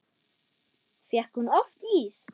Fékk hún oft ís?